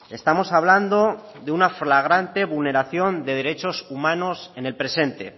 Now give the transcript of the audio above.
estamos hablando de una flagrante vulneración de derechos humanos en el presente